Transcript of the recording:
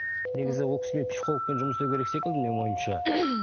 негізі ол кісімен психологпен жұмыс істеу керек секілді менің ойымша